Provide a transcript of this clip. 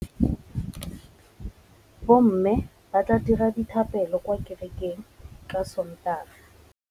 Bommê ba tla dira dithapêlô kwa kerekeng ka Sontaga.